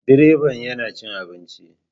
Direba yana cin abinci.